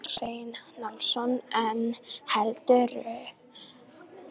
Um það má lesa meira í svari við spurningunni Er sellófan plast?